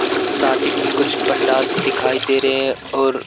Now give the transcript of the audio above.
सश शादी की कुछ पंडालस दिखाई दे रहे हैं और--